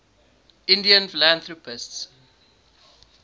indian philanthropists